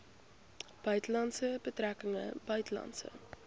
buitelandse betrekkinge buitelandse